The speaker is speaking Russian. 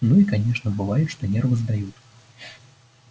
ну и конечно бывает что нервы сдают